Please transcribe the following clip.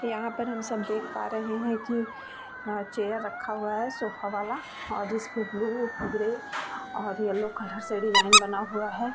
यहाँ पर हम सब देख पा रहे हैं की चेयर रखा हुआ है सोफा वाला और इसमें ब्लू ग्रे और येल्लो कलर से डिज़ाइन बना हुआ है।